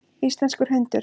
Íslenskur hundur.